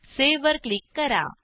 save वर click करा